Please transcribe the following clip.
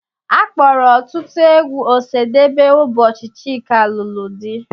A kpọrọ ọtụtụ egwu Osadebe ụbọchị Chika lụrụ di.